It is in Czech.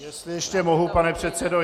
Jestli ještě mohu, pane předsedo.